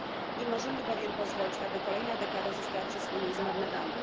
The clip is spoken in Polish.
Nie możemy bowiem pozwolić, aby kolejna dekada została przez Unię zmarnowana.